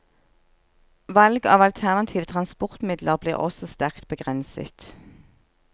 Valg av alternative transportmidler blir også sterkt begrenset.